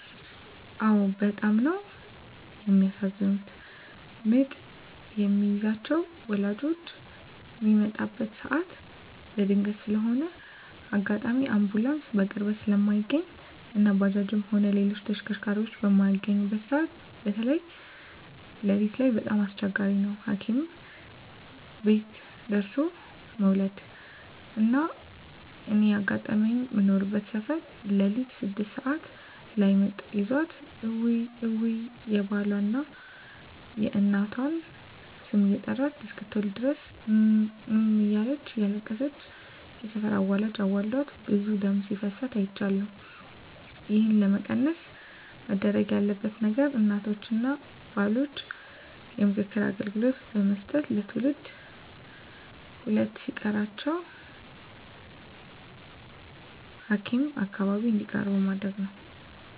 አዎ በጣም ነው የሚያሳዝኑት ምጥ የሚይዛቸው ወላጆች ሚመጣበት ሰዓት በድንገት ስለሆነ አጋጣሚ አንቡላንስ በቅርበት ስለማይገኝ እና ባጃጅም ሆነ ሌላ ተሽከርካሪ በማይገኝበት ሰዓት በተይ ለሊት ላይ በጣም አስቸጋሪ ነው ሀኪም ደርሦለ መዉለድ። እና እኔ ያጋጠመኝ ምኖርበት ሰፈር ለሊት ስድስት ሰዓት ላይ ምጥ ይዟት እውይ እውይ የባሏን፣ የእናቷን ስም እየጠራች እስክትወልድ ድረስ እም እም እያለች እያለቀሰች የሰፈር አዋላጅ አዋልዳት ብዙ ደም ሲፈሳት አይቻለሁ። ይህን ለመቀነስ መደረግ ያለበት ነገር እናቶችን እና ባሎችን የምክር አገልግሎት ብመስጠት ለትውልድ ሁለት ሲቀራቸው ሀኪም አካባቢ እንዲቀርቡ ማድረግ ተገቢ ነው።